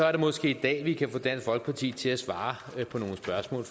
er det måske i dag vi kan få dansk folkeparti til at svare på nogle spørgsmål